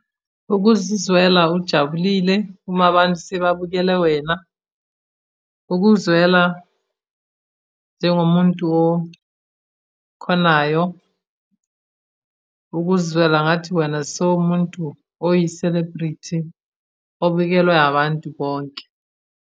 Ukuzizwela ujabulile uma abantu sebabukele wena. Ukuzwela njengomuntu okhonayo ukuzwela ngathi wena sowumuntu oyiselebhrithi, obikelwe abantu bonke.